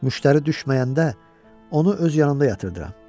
Müştəri düşməyəndə, onu öz yanında yatırdıram.